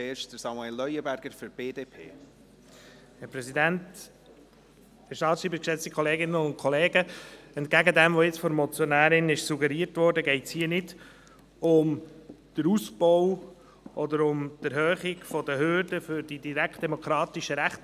Entgegen dem, was von der Motionärin suggeriert wurde, geht es hier nicht um den Ausbau oder um die Erhöhung der Hürden für die Ausübung der direktdemokratischen Rechte.